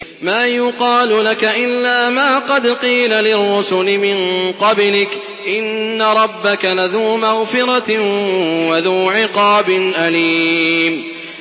مَّا يُقَالُ لَكَ إِلَّا مَا قَدْ قِيلَ لِلرُّسُلِ مِن قَبْلِكَ ۚ إِنَّ رَبَّكَ لَذُو مَغْفِرَةٍ وَذُو عِقَابٍ أَلِيمٍ